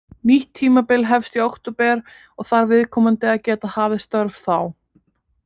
Nýtt tímabil hefst í október og þarf viðkomandi að geta hafið störf þá.